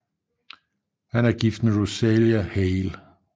Han er gift med Rosalie Hale